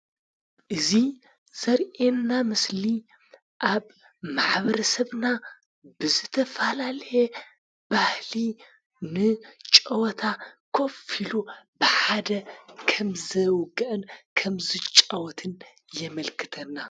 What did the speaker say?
እዚ ዘርኤና ምስሊ ኣብ ማሕበረሰብና ብዝተፋላልየ ባህሊ ን ጨወታ ኰፊሉ ብሓደ ከምዘውግአን ከምዝጫወትን የመልክተና።